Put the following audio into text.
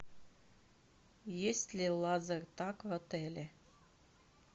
есть ли лазертаг в отеле